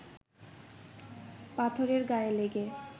পাথরের গায়ে লেগে